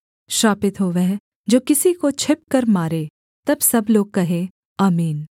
श्रापित हो वह जो किसी को छिपकर मारे तब सब लोग कहें आमीन